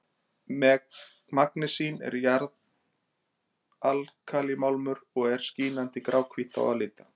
magnesín er jarðalkalímálmur og er skínandi gráhvítt á að líta